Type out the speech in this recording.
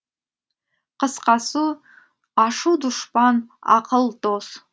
қысқасы ашу дұшпан ақыл дос